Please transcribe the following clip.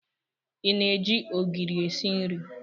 Ị na-eji ogiri esi nri?